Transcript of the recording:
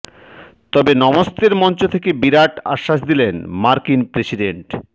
তবে নমস্তের মঞ্চ থেকে বিরাট আশ্বাস দিলেন মার্কিন প্রেসিডেন্ট